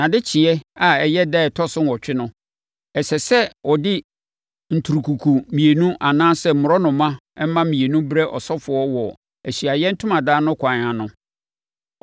Nʼadekyeeɛ a ɛyɛ ɛda a ɛtɔ so nwɔtwe no, ɛsɛ sɛ ɔde nturukuku mmienu anaa mmorɔnoma mma mmienu brɛ ɔsɔfoɔ wɔ Ahyiaeɛ Ntomadan no kwan ano.